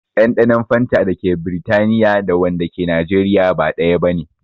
Ɗanɗanon fanta dake Britaniya da wanda ke Najeriya ba ɗaya bane